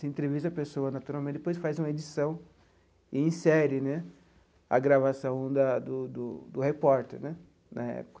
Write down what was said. Se entrevista a pessoa naturalmente, depois faz uma edição e insere né a gravação da do do do repórter né na época.